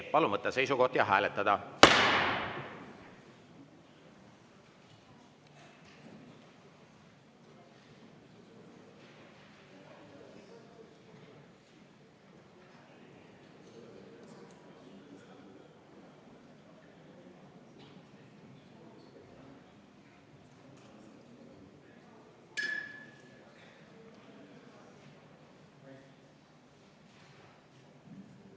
Palun võtta seisukoht ja hääletada!